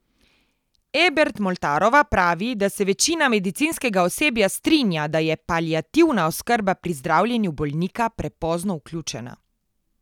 Ebert Moltarova pravi, da se večina medicinskega osebja strinja, da je paliativna oskrba pri zdravljenju bolnika prepozno vključena.